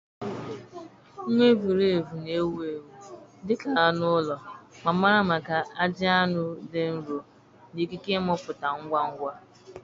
Nwaevulevu na-ewu ewu dị ka anụ ụlọ ma mara maka ajị anụ dị nro na ikike ịmụpụta ngwa ngwa